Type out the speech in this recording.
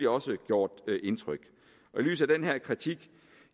også gjort indtryk i lyset af den her kritik